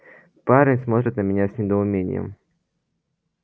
парень смотрит на меня с недоумением